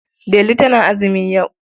Delu tana azumi yau.